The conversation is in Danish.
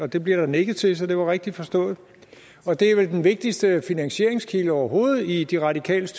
det bliver der nikket til så det var rigtigt forstået og det er vel den vigtigste finansieringskilde overhovedet i de radikales